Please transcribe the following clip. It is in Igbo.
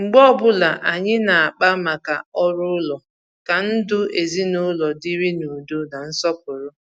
mgbe ọbụla anyị na-akpa maka orù ụlọ ka ndụ ezinụlọ dịrị n’ùdọ̀ na nsọpụrụ.